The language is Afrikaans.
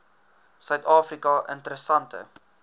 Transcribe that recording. suid afrika interessante